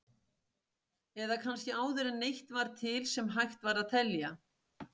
Eða kannski áður en neitt var til sem hægt var að telja?